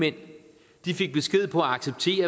hen